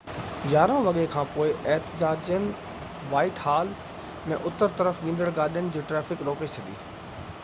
11:00 وڳي کانپوءِ احتجاجين وائيٽ حال ۾ اتر طرف ويندڙ گاڏين جي ٽرئفڪ روڪي ڇڏي